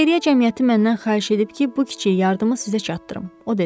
Xeyriyyə cəmiyyəti məndən xahiş edib ki, bu kiçik yardımı sizə çatdırım, o dedi.